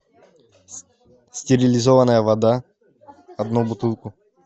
стерилизованная вода одну бутылку